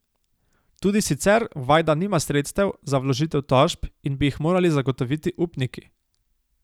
Tudi sicer Vajda nima sredstev za vložitev tožb in bi jih morali zagotoviti upniki.